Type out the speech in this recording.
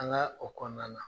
An ka o kɔnɔna na.